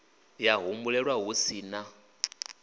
ya humbulelwa hu si na